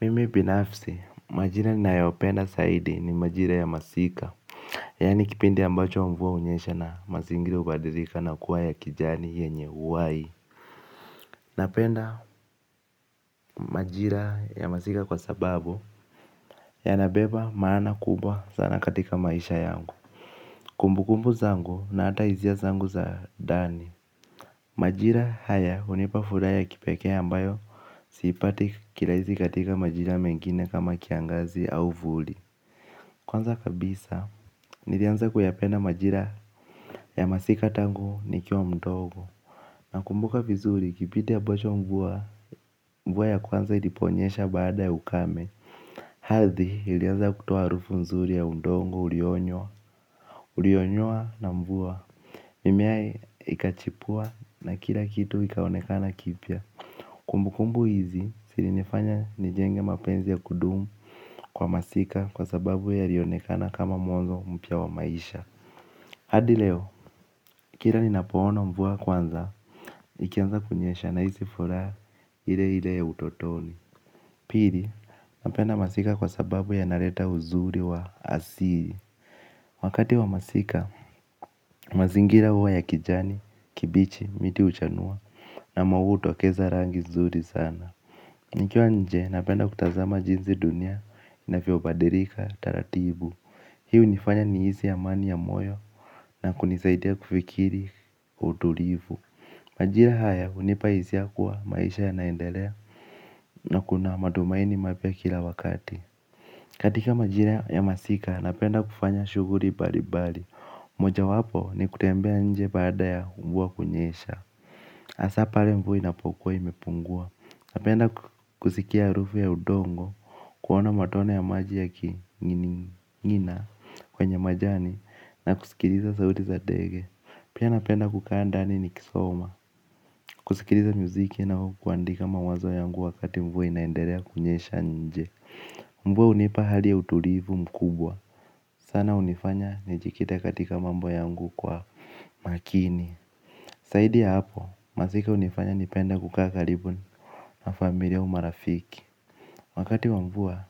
Mimil binafsi, majira nayopenda zaidi ni majira ya masika. Yani kipindi ambacho mvua hunyesha na mazingira hubadilika na kuwa ya kijani yenye uhai. Napenda majira ya masika kwa sababu yanabeba maana kubwa sana katika maisha yangu. Kumbu kumbu zangu na hata hisia zangu za ndani. Majira haya hunipa furaha ya kipekee ambayo sipati kirahisi katika majira mengine kama kiangazi au vuli. Kwanza kabisa, nilianza kuyapenda majira ya masika tangu nikiwa mdogo. Nakumbuka vizuri kipindi ambacho mvua ya kwanza iliponyesha baada ya ukame. Ardhi, ilianza kutoa harufu nzuri ya udongo ulionywa ulionyoa na mvua, mimea ikachipua na kila kitu ikaonekana kipya. Kumbu kumbu hizi, zilinifanya nijenge mapenzi ya kudumu kwa masika kwa sababu yalionekana kama mwanzo mpya wa maisha hadi leo, kila ni napoona mvua kwanza, ikianza kunyesha nahisi furaha ile ile ya utotoni. Pili, napenda masika kwa sababu yanaleta uzuri wa asli. Wakati wa masika, mazingira huwa ya kijani, kibichi, miti huchanua na maua hutokeza rangi nzuri sana. Nikiwa nje, napenda kutazama jinsi dunia inavyobadilika taratibu. Hio hunifanya nihisi amani ya moyo na kunisaidia kufikiri utulivu. Majira haya hunipa hisia kuwa maisha yanaendelea na kuna matumaini mapya kila wakati. Katika majira ya masika napenda kufanya shuguli mbalimbali. Moja wapo ni kutembea nje baada ya mvua kunyesha. Hasa pale mvua inapokuwa imepungua napenda kusikia harufu ya udongo. Kuona matone ya maji yakinginingina kwenye majani na kusikiliza sauti za ndege. Pia napenda kukaa ndani nikisoma. Kusikiliza muziki na kuandika mawazo yangu wakati mvua inaendelea kunyesha nje. Mvua hunipa hali ya utulivu mkubwa. Sana hunifanya nijikite katika mambo yangu kwa makini. Zaidi ya hapo, masika hunifanya nipende kukaa karibu na familia au marafiki. Wakati wa mvua,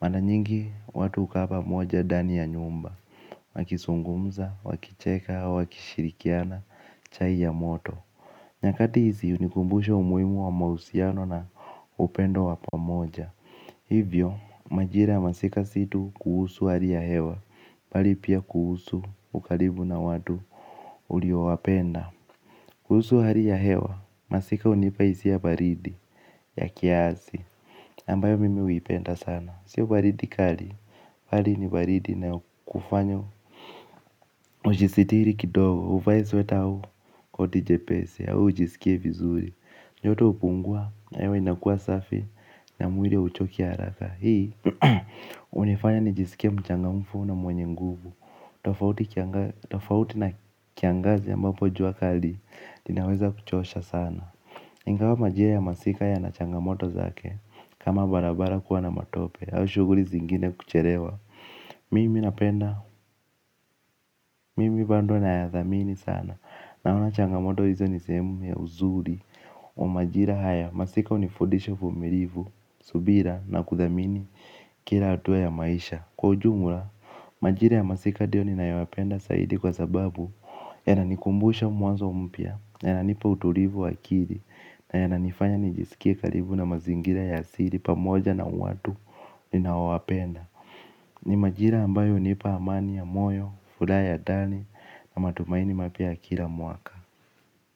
mara nyingi watu hukaa pamoja ndani ya nyumba. Wakizungumza, wakicheka, wakishirikiana, chai ya moto. Nyakati hizi hunikumbusha umuhimu wa mahusiano na upendo wa pamoja. Hivyo, majira ya masika si tu kuhusu hali ya hewa bali pia kuhusu ukaribu na watu ulio wapenda. Kuhusu hali ya hewa, masika hunipa hisia baridi ya kiasi ambayo mimi huipenda sana. Sio baridi kali, bali ni baridi inayokufanya ujisitiri kidogo, uvae sweta au, koti jepesi, au ujisikie vizuri joto hupungua, na hewa inakuwa safi, na mwili hauchoki haraka. Hii, hunifanya nijisikie mchangamfu na mwenye nguvu. Tafauti na kiangazi ambapo jua kali, linaweza kuchosha sana ingawa majira ya masika yana changamoto zake kama barabara kuwa na matope au shuguli zingine kuchelewa mimi bado nayathamini sana naona changamoto hizo ni sehemu ya uzuri wa majira haya masika hunifundisha umilivu subira na kuthamini kila hatua ya maisha kwa ujumla majira ya masika ndiyo ninayoyapenda zaidi kwa sababu yananikumbusha mwanzo mpya yananipa utulivu wa akili na yananifanya nijisikie karibu na mazingira ya asili pamoja na watu ninaowapenda ni majira ambayo hunipa amani ya moyo, furaha ya ndani na matumaini mapya kila mwaka.